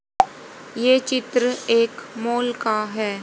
ये चित्र एक मॉल का है।